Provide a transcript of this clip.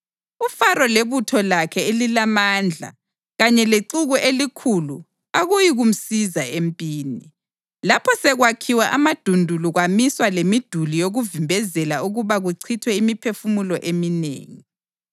UFaro lebutho lakhe elilamandla kanye lexuku elikhulu akuyikumsiza empini, lapho sekwakhiwe amadundulu kwamiswa lemiduli yokuvimbezela ukuba kuchithwe imiphefumulo eminengi.